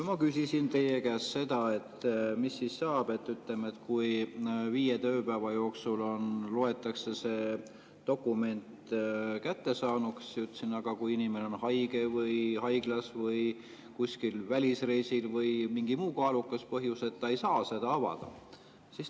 Ma küsisin teie käest, et kui viie tööpäeva jooksul loetakse see dokument kättesaaduks, aga mis siis saab, kui inimene on haige või haiglas või kuskil välisreisil või on mingi muu kaalukas põhjus, et ta ei saa seda avada.